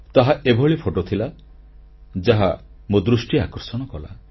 ତାହା ଏଭଳି ଫଟୋ ଥିଲା ଯାହା ମୋ ଦୃଷ୍ଟି ଆକର୍ଷଣ କଲା